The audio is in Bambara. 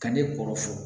Ka ne kɔrɔ fɔ